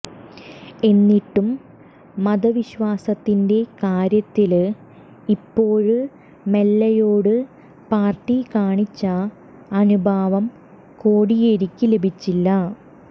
എന്നിട്ടും മതവിശ്വാസത്തിന്റെ കാര്യത്തില് ഇപ്പോള് മൊല്ലയോട് പാര്ട്ടി കാണിച്ച അനുഭാവം കോടിയേരിയ്ക്ക് ലഭിച്ചില്ല